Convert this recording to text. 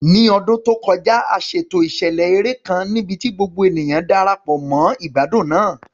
Ní ọdún tó kọjá, a ṣètò ìṣẹ̀lẹ̀ eré kan níbi tí gbogbo ènìyàn Darapọ̀ mọ́ ìgbádùn náà.